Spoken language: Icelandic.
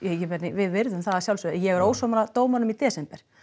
við virðum það að sjálfsögðu en ég er ósammála dómaranum í desember